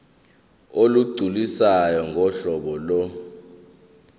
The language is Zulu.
olugculisayo ngohlobo lo